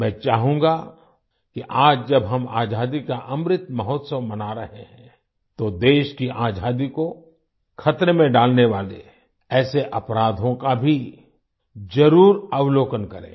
मैं चाहूँगा कि आज जब हम आजादी का अमृत महोत्सव मना रहे हैं तो देश की आजादी को खतरे में डालने वाले ऐसे अपराधों का भी जरुर अवलोकन करें